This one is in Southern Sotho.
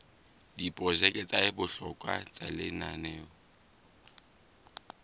diprojeke tsa bohlokwa tsa lenaneo